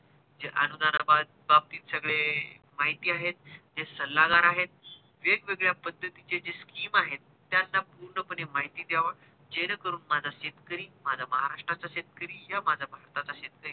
बाबतीत सगळे माहिती आहेत जे सल्लागार आहेत वेग वेगळ्या पद्धतीचे scheme आहेत त्याचा पूर्ण पणे माहिती द्यावा जेणेकरून माझा शेतकरी माझा महाराष्ट्र्राचा शेतकरी माझा भारताचा शेतकरी